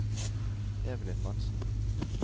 Evelyn Madsen